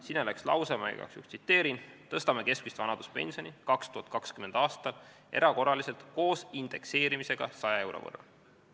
Sinna läks lause: "Tõstame keskmist vanaduspensioni 2020. aastal erakorraliselt koos indekseerimisega 100 euro võrra.